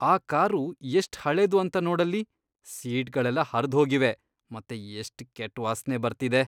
ಆ ಕಾರು ಎಷ್ಟ್ ಹಳೇದು ಅಂತ ನೋಡಲ್ಲಿ. ಸೀಟ್ಗಳೆಲ್ಲ ಹರ್ದ್ಹೋಗಿವೆ ಮತ್ತೆ ಎಷ್ಟ್ ಕೆಟ್ಟ್ ವಾಸ್ನೆ ಬರ್ತಿದೆ.